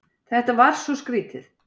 Þetta var svo skrýtið.